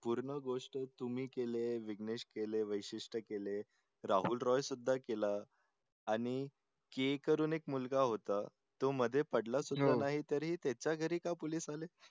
पूर्ण गोष्ट तुम्ही केले विघ्नेश केले वैशिष्ट केले राहुल रॉय सुद्धा केला आणि के करून एक मुलगा होता तो मध्ये पडला तरी त्याच्या घरी का police आले